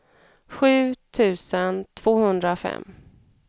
sju tusen tvåhundrafem